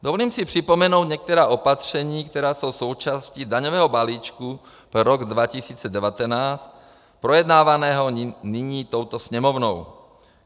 Dovolím si připomenout některá opatření, která jsou součástí daňového balíčku pro rok 2019 projednávaného nyní touto Sněmovnou.